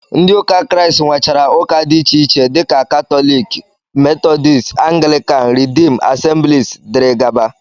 Ndị ụka Kraịst nwechara ụka dị iche iche dịka ụka katọlik, metọdisti, anglikan, ridiim, asemblis, dg